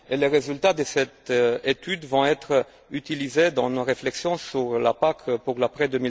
Les résultats de cette étude vont être utilisés dans nos réflexions sur la PAC pour l'après